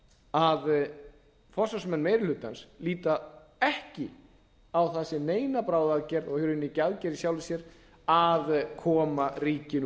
að forsvarsmenn meiri hlutans líta ekki á það sem neina bráðaaðgerð og í rauninni í sjálfu sér að koma ríkinu